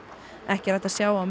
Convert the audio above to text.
ekki er hægt að sjá á